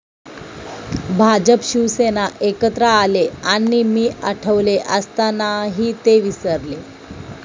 भाजप शिवसेना एकत्र आले आणि मी 'आठवले' असतानाही ते विसरले'